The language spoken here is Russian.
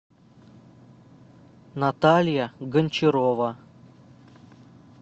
наталья гончарова